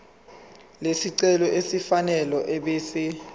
lesicelo elifanele ebese